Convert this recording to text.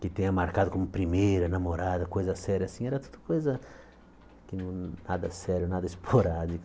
que tenha marcado como primeira, namorada, coisa séria assim, era tudo coisa nada sério, nada esporádico.